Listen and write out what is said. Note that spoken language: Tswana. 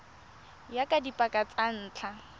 ya ka dipaka tsa ntlha